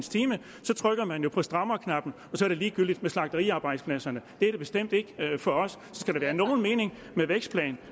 så trykker man jo på strammerknappen så er det ligegyldigt med slagteriarbejdspladserne det er det bestemt ikke for os så skal der være nogen mening med vækstplanen